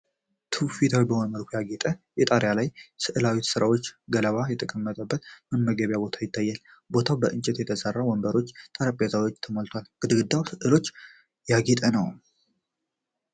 ትውፊታዊ በሆነ መልኩ ያጌጠ፣ በጣሪያው ላይ የሥዕል ስራዎችና ገለባ የተቀመጠበት የመመገቢያ ቦታ ይታያል። ቦታው ከእንጨት በተሠሩ ወንበሮችና ጠረጴዛዎች ተሞልቷል፤ ግድግዳው በሥዕሎች ያጌጠ ነው።